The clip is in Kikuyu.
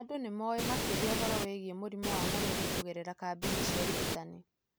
Andũ nĩ moĩ makĩria ũhoro wĩgiĩ mũrimũ wa malaria kũgerera kambĩini cia ũrigitani.